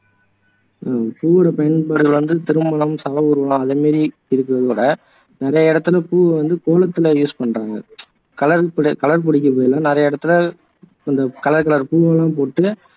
ஹம் பூவோட பயன்பாடு வந்து திருமணம், சவ ஊர்வலம் அதே மாதிரி இருக்குறதோட நிறைய இடத்துல பூவை வந்து கோலத்துல use பண்றாங்க கலர் பொ கலர் பொடிக்கு பதிலா நிறைய இடத்துல அந்த கலர் கலர் பூவை எல்லாம் போட்டு